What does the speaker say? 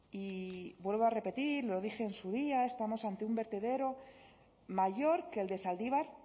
y vuelvo a repetir lo dije en su día estamos ante un vertedero mayor que el de zaldibar